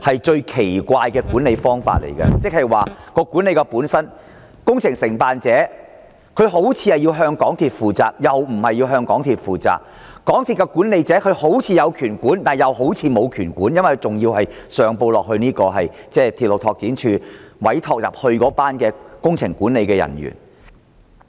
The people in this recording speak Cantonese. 這是一種十分奇怪的做法，因為工程承辦商似乎須向港鐵公司負責，也似乎不用向港鐵公司負責；港鐵公司的管理層似乎有管理權，也似乎沒有，因為它還要上報鐵路拓展處委託的工程管理人員。